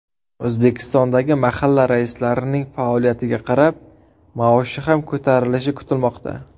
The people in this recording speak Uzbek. O‘zbekistondagi mahalla raislarining faoliyatiga qarab, maoshi ham ko‘tarilishi kutilmoqda.